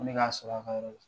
Ko ne ka sɔrɔ a ka yɔrɔ la.